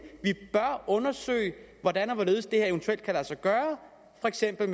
at undersøge hvordan og hvorledes det her eventuelt kan lade sig gøre for eksempel